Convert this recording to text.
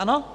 Ano?